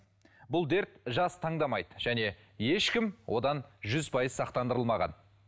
бұл дерт жас таңдамайды және ешкім одан жүз пайыз сақтандырылмаған